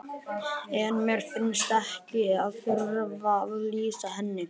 En mér finnst ég ekki þurfa að lýsa henni.